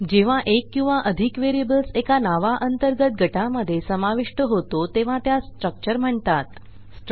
जेव्हा एक किंवा अधिक वेरियेबल्स् एका नाव अंतर्गत गटामध्ये समाविष्ट केले जातात तेव्हा तो स्ट्रक्चर म्हणून ओळखला जातो